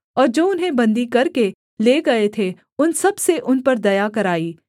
और जो उन्हें बन्दी करके ले गए थे उन सबसे उन पर दया कराई